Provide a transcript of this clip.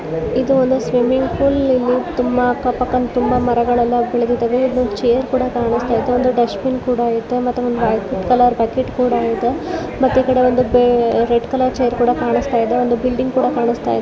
ಇದು ಒಂದು swimming pool ಇಲ್ಲಿ ಅಕ್ಕಪಕ್ಕ ಮರಗಳೆಲ್ಲ ಬೆಳೆದಿದ್ದವೇ ಇಲ್ಲಿ ಚೇರುಗಳು ಕೂಡ ಇದಾವೆ ಮತ್ತೆ ಇಲ್ಲಿ ಒಂದು ವೈಟ್ ಕಲರ್ ಬಕೆಟ್ ಕೂಡ ಇದೆ.